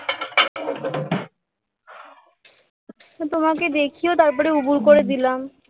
তোমাকে দেখিয়ে তারপরে উপুড় করে দিলাম